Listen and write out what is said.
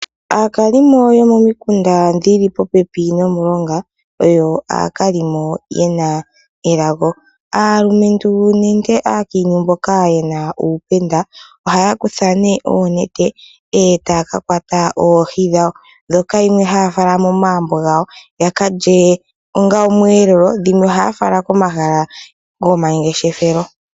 Aakalimo yomo mikunda dhili popepi nomilonga oyo aakalimo yena elago. Aalumentu nenge aakintu mboka yena uupenda ohaya kutha ne oonete eta ya ka kwata oohi dhawo ndhoka dhimwe haya fala momagumbo gawo yaka lye onga omweelelo dhimwe ohaya fala komahala go mangeshefelo.